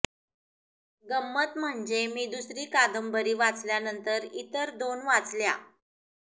गंमत म्हणजे मी दुसरी कादंबरी वाचल्यानंतर इतर दोन वाचल्या